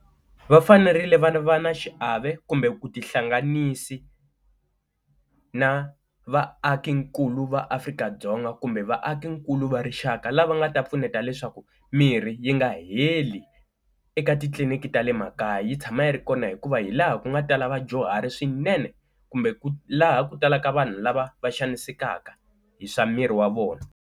Va fanerile va va na xiave kumbe ku tihlanganisi na vaakinkulu va Afrika-Dzonga kumbe vaakinkulu va rixaka, lava nga ta pfuneta leswaku mirhi yi nga heli eka titliliniki ta le makaya yi tshama yi ri kona hikuva hi laha ku nga tala vadyuhari swinene kumbe laha ku talaka vanhu lava va xanisekaka hi swa miri wa vona.